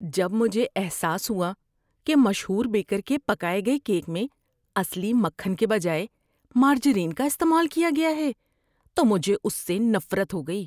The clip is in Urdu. ‏جب مجھے احساس ہوا کہ مشہور بیکر کے پکائے گئے کیک میں اصلی مکھن کے بجائے مارجرین کا استعمال کیا گیا ہے تو مجھے اس سے نفرت ہو گئی۔